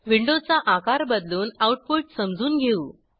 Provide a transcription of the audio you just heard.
विंडोचा आकार बदलून आऊटपुट समजून घेऊ